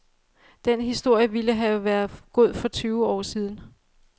Den historie ville have været god for tyve år siden.